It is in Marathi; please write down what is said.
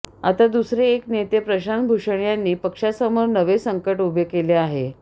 आता दुसरे एक नेते प्रशांत भूषण यांनी पक्षासमोर नवे संकट उभे केले आहे